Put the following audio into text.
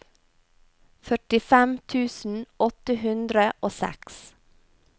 førtifem tusen åtte hundre og seks